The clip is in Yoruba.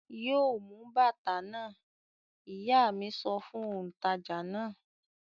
"Yóò mú bàtà náà!" Ìyá mi sọ fún òǹtajà náà.